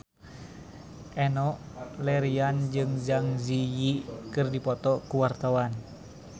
Enno Lerian jeung Zang Zi Yi keur dipoto ku wartawan